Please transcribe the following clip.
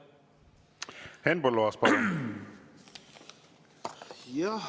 Henn Põlluaas, palun!